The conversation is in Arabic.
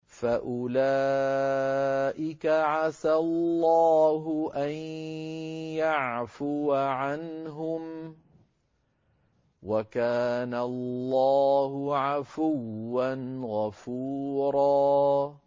فَأُولَٰئِكَ عَسَى اللَّهُ أَن يَعْفُوَ عَنْهُمْ ۚ وَكَانَ اللَّهُ عَفُوًّا غَفُورًا